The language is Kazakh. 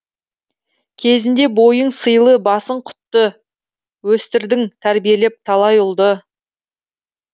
кезінде бойың сыйлы басың құтты өстірдің тәрбиелеп талай ұлды